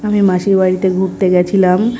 আমি মাসির বাড়িতে ঘুরতে গেছিলাম--